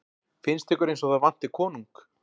Finnst ykkur eins og það vanti konung?